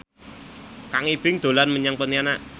Kang Ibing dolan menyang Pontianak